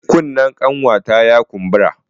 Kunnen ƙanwata ya kumbura.